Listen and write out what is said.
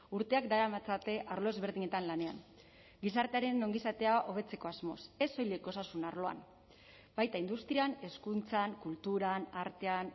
urteak daramatzate arlo ezberdinetan lanean gizartearen ongizatea hobetzeko asmoz ez soilik osasun arloan baita industrian hezkuntzan kulturan artean